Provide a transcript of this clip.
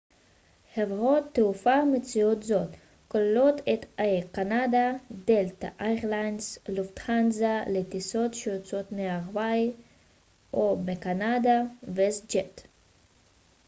חברות תעופה המציעות זאת כוללות את אייר קנדה דלתא איירליינס לופטהנזה לטיסות שיוצאות מארה ב או מקנדה ו-ווסט ג'ט